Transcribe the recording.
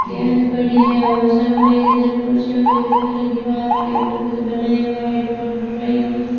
गेंद पड़ी है और सामने इधर कुर्सियों के ऊपर दीवार के ऊपर कुछ बनाया हुआ है ड्रा ड्राइंग